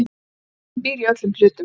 Ljóðlistin býr í öllum hlutum.